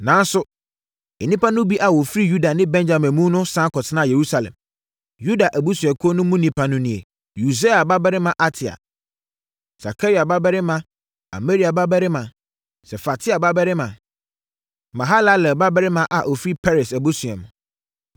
nanso, nnipa no bi a wɔfiri Yuda ne Benyamin mu no sane kɔtenaa Yerusalem. Yuda abusuakuo mu nnipa no nie: Usia babarima Ataia, Sakaria babarima, Amaria babarima, Sefatia babarima, Mahalalel babarima a ɔfiri Peres abusua mu;